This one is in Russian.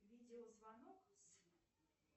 видеозвонок с